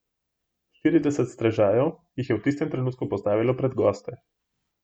Štirideset strežajev jih je v istem trenutku postavilo pred goste.